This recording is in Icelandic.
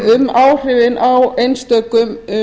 um áhrifin á einstökum